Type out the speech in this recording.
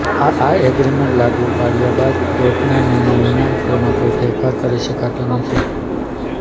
આ એગ્રીમેન્ટ લાગુ પાડ્યા બાદ કોર્ટના નિર્ણય વિના તેમાં કોઈ ફેરફાર કરી શકાતો નથી